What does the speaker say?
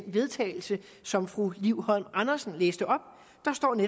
vedtagelse som fru liv holm andersen læste op